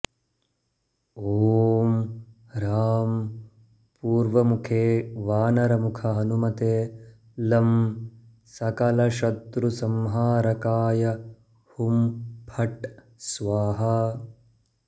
ॐ ह्रां पूर्वमुखे वानरमुखहनुमते लं सकलशत्रुसंहारकाय हुं फट् स्वाहा